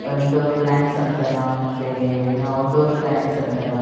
Indoor plants ಅಂತರ ಮತ್ತೆ outdoor plants ಅಂತರ.